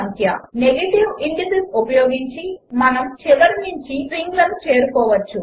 | |639 | negative indices ఉపయోగించి మనము చివరి నుంచి స్ట్రింగ్లను చేరుకోవచ్చు